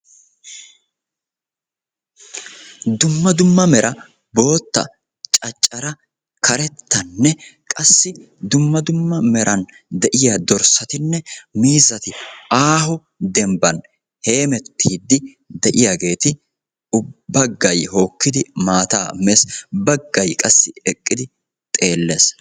Dumma dumma mera bootta, caccaraa, karettanne qassi dumma dumma meran de'yaa dorssatinne miizati aaho dembban heemettiidi de'iyaageti ubbay baggay hokkidi maataa mees. Baggay qassi eqqidi xeelles.